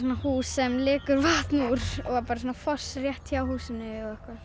hús sem lekur vatn úr og foss rétt hjá húsinu